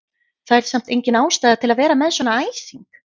Það er samt engin ástæða til að vera með svona æsing!